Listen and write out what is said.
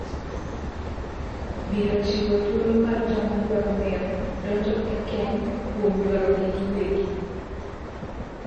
biro chiwo thuolo mar joma dwaro mewo donjo e keny kuom dwarogi giwegi